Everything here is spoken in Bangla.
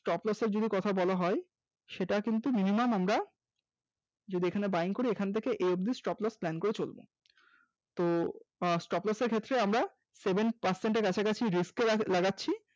stop loss এর যদি কথা বলা হয় সেটা কিন্তু minimum আমরা যেখানে buying করি ওখান থেকে এই অবধি stop loss plan করে চলতে হবে তো আহ stop loss এর ক্ষেত্রে আমরা seven percent কাছাকাছি risk এ লাগাচ্ছি